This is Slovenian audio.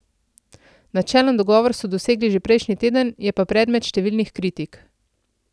Načelen dogovor so dosegli že prejšnji teden, je pa predmet številnih kritik.